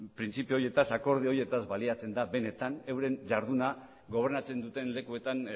printzipio horietan akordio horietaz baliatzen da benetan euren jarduna gobernatzen duten lekuetan